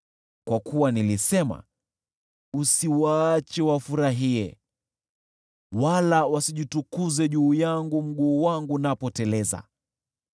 Kwa kuwa nilisema, “Usiwaache wafurahie, wala wasijitukuze juu yangu mguu wangu unapoteleza.”